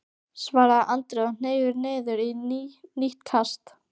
svaraði Andri og hneig niður í nýtt kast.